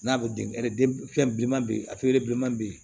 N'a bɛ den fɛn bilenman bɛ yen a bilenman bɛ yen